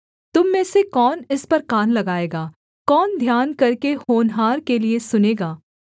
तुम में से कौन इस पर कान लगाएगा कौन ध्यान करके होनहार के लिये सुनेगा